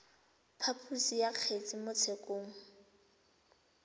phaposo ya kgetse mo tshekong